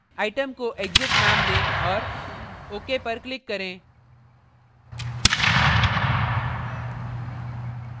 item को exit नाम दें औऱ ok पर click करें